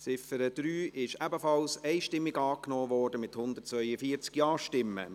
Sie haben die Ziffer 3 der Motion einstimmig angenommen, mit 142 Ja-Stimmen.